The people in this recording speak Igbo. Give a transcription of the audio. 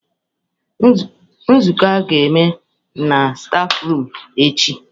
Nzukọ a ga-eme stafurum echi.